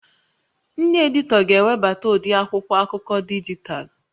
Ndị editọ ga-ewebata ụdị akwụkwọ akụkọ dijitalụ